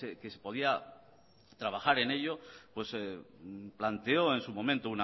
que se podía trabajar en ello planteó en su momento